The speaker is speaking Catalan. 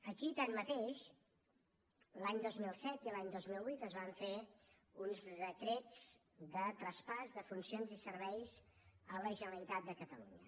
aquí tanmateix l’any dos mil set i l’any dos mil vuit es van fer uns decrets de traspàs de funcions i serveis a la generalitat de catalunya